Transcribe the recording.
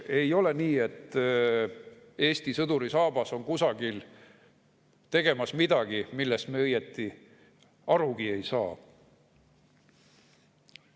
Ei ole nii, et Eesti sõduri saabas teeb kusagil midagi, millest me õieti arugi ei saa.